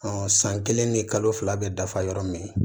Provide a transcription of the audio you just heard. san kelen ni kalo fila bɛ dafa yɔrɔ min